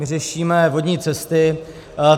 My řešíme vodní cesty.